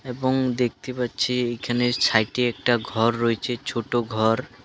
এবং দেখতে পাচ্ছি এখানে সাইডে একটা ঘর রয়েছে ছোটো ঘর.